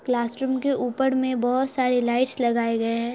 Class room के ऊपर में बहुत सारे लाइट्स लगाए गये हैं।